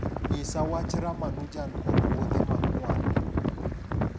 nyisa wach ramanujan kod wuodhe ma kwan